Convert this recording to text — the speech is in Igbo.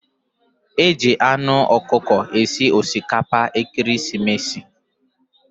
Eji anu ọkụkọ esi osikapa ekeresimesi.